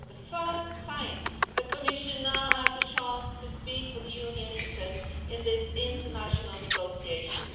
For the first time, the Commission now has a chance to speak for the Union interest in these international negotiations.